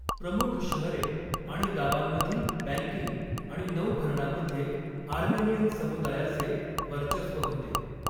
प्रमुख शहरे आणि गावांमधील बँकिंग आणि नौभरणामध्ये आर्मेनियन समुदायाचे वर्चस्व होते.